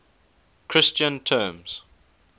christian terms